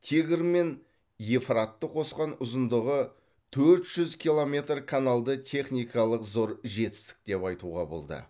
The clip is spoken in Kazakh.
тигр мен евфратты қосқан ұзындығы төрт жүз километр каналды техникалық зор жетістік деп айтуға болды